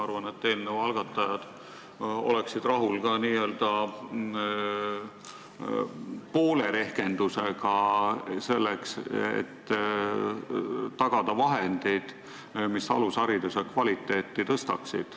Ma arvan, et eelnõu algatajad oleksid rahul ka n-ö poole rehkendusega, et tagada vahendid, mis alushariduse kvaliteeti tõstaksid.